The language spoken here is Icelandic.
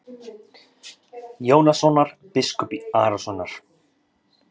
Jónssonar, biskups Arasonar.